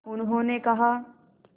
उन्होंने कहा